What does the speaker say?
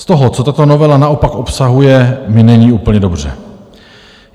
Z toho, co tato novela naopak obsahuje, mi není úplně dobře.